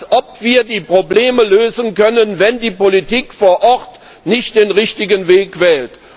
Als ob wir die Probleme lösen könnten, wenn die Politik vor Ort nicht den richtigen Weg wählt.